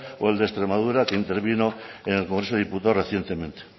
o el de extremadura que intervino en el congreso de los diputados recientemente